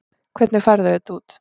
Hvernig færðu þetta út?